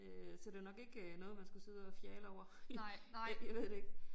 Øh så det var nok ikke øh noget man skulle sidde og fjale over jeg ved det ikke